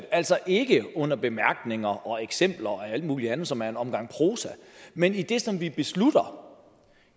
altså ikke under bemærkningerne og i eksempler og alt muligt andet som er en omgang prosa men i det som vi beslutter